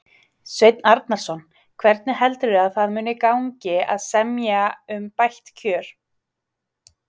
Sveinn Arnarson: Hvernig heldurðu að það muni gangi að semja um bætt kjör?